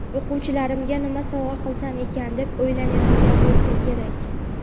o‘quvchilarimga nima sovg‘a qilsam ekan deb o‘ylanayotgan bo‘lsa kerak.